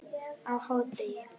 á hádegi.